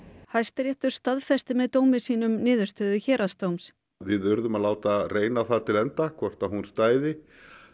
Hæstiréttur staðfesti með dómi sínum niðurstöðu héraðsdóms við urðum að láta reyna á það til enda hvort hún stæði